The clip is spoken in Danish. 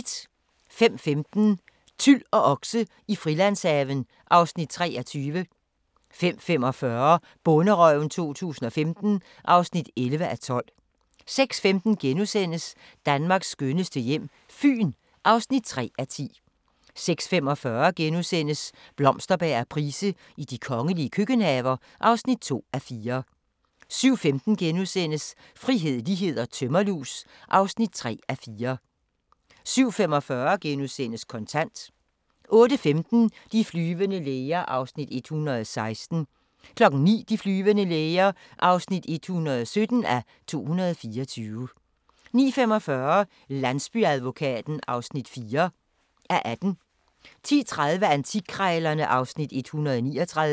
05:15: Tyl og okse i Frilandshaven (Afs. 23) 05:45: Bonderøven 2015 (11:12) 06:15: Danmarks skønneste hjem - Fyn (3:10)* 06:45: Blomsterberg og Price i de kongelige køkkenhaver (2:4)* 07:15: Frihed, lighed & tømmerlus (3:4)* 07:45: Kontant * 08:15: De flyvende læger (116:224) 09:00: De flyvende læger (117:224) 09:45: Landsbyadvokaten (4:18) 10:30: Antikkrejlerne (Afs. 139)